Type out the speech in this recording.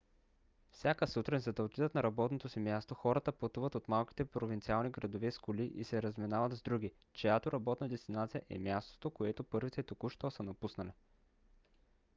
всяка сутрин за да отидат на работното си място хората пътуват от малките провинциални градове с коли и се разминават с други чиято работна дестинация е мястото което първите току-що са напуснали